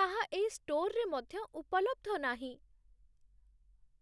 ତାହା ଏହି ଷ୍ଟୋର୍‌ରେ ମଧ୍ୟ ଉପଲବ୍ଧ ନାହିଁ।